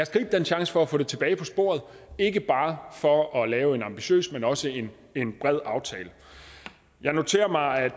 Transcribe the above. gribe den chance for at få det tilbage på sporet ikke bare for at lave en ambitiøs men også en bred aftale jeg noterer mig at